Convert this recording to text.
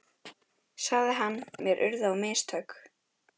sagði hann, mér urðu á mistök.